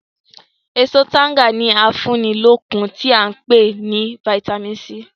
Èso tanga ni afúnilókun tí a ń pè ní "Vitamin C".